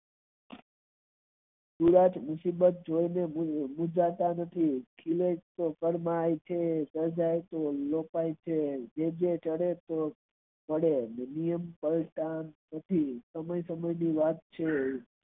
મુંજાતા નથી આવે છે અને જાય છે તે કહે છે સમય સમય ની વાત છે.